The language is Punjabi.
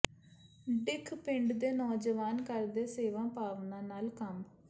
ਡਿੱਖ ਪਿੰਡ ਦੇ ਨੌਜਵਾਨ ਕਰਦੇ ਸੇਵਾ ਭਾਵਨਾ ਨਾਲ ਕੰਮ